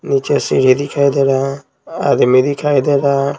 नीचे सीढी दिखाई दे रहा है आदमी दिखाई दे रहा है।